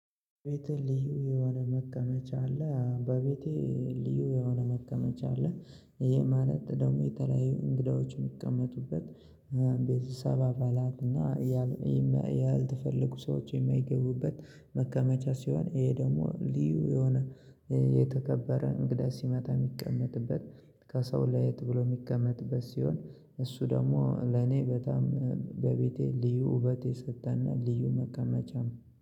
ቤቴ ልዩ የሆነ መቀመጫ አለ በቤቴ ልዩ የሆነ መቀመጫ አለ። ይሄ ማለት ደግሞ የተለያዩ እንግዳዎችን የሚቀመጡበት ቤተሰብ አባላት እና ያልተፈለጉ ሰዎች የማይገቡበት መቀመጫ ሲሆን ይሄ ደግሞ ልዩ የሆነ የተከበረ እንግዳ ሲመጣ የሚቀመጥበት ከሰው ላይ ተብሎ የሚቀመጥበት ሲሆን እሱ ደግሞ ለኔ በቤቴ ልዩ ውበት የሰጠ እና ልዩ መቀመጫም ነው